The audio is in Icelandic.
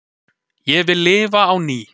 Ég vil lifa á ný